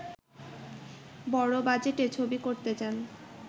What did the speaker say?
বড় বাজেটে ছবি করতে যান